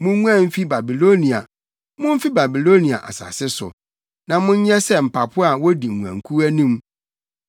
“Munguan mfi Babilonia; mumfi Babiloniafo asase so, na monyɛ sɛ mpapo a wodi nguankuw anim.